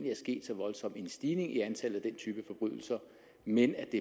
sket så voldsom en stigning i antallet af den type forbrydelser men at det